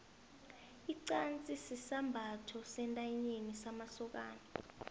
ixasi sisambatho sentanyeni samasokani